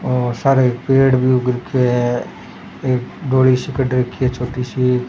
ओर सारे पेड़ भी उग रखयो है एक धोली सी रखी है छोटी सी क।